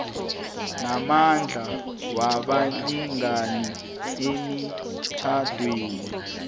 namandla wabalingani emitjhadweni